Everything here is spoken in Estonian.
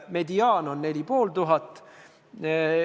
Mediaan on 4500 eurot.